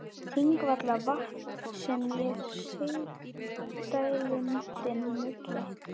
Þingvallavatns sem er í sigdældinni milli